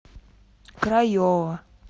крайова